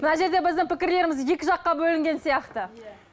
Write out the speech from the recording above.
мына жерде біздің пікірлеріміз екі жаққа бөлінген сияқты иә